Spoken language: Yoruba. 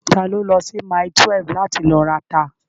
Ta ló lọ sí mile 12 láti lọ rata?